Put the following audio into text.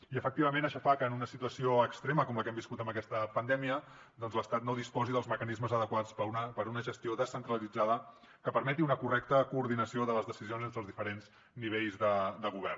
i efectivament això fa que en una situació extrema com la que hem viscut en aquesta pandèmia doncs l’estat no disposi dels mecanismes adequats per a una gestió descentralitzada que permeti una correcta coordinació de les decisions entre els diferents nivells de govern